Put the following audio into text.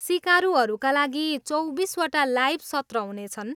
सिकारुहरूका लागि चौबिसवटा लाइभ सत्र हुनेछन्।